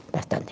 Bastante.